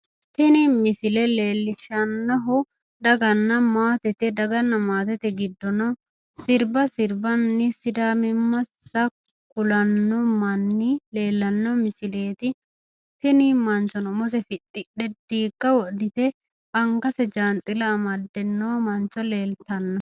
Tini misile leellishshannohu daganna maatete, daganna maatete giddono sirba sirbanni sidaamimmasi kulanno manni leellanno misileeti tini manchono umose fixidhe diigga wodhite angate jaanxila amadde no mancho leeltanno